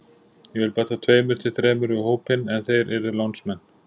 Ég vil bæta tveimur til þremur við hópinn en þeir yrðu lánsmenn.